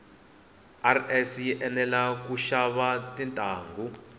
rs yi enela kushava tintangu